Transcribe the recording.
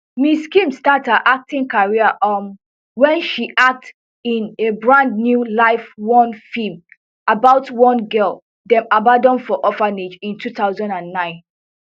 ms kim start her acting career um wen she act in a brand new life one film about one girl dem abandon for orphanage in two thousand and nine